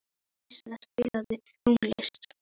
Dísa, spilaðu tónlist.